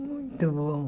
Muito bom.